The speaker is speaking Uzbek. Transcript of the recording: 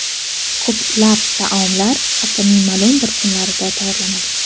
Ko‘plab taomlar haftaning ma’lum bir kunlarida tayyorlanadi.